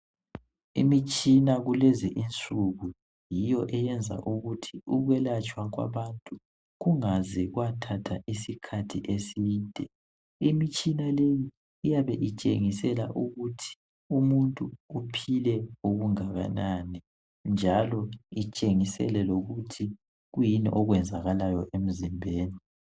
Imitshina kulezi insuku yiyo eyenza ukuthi ukwelatshwa kwabantu kungaze kwathatha isikhathi eside. Imitshina leyi iyabe itshengisela ukuthi umuntu uphile okungakanani njalo itshengisele lokuthi kuyini okwenzakalayo.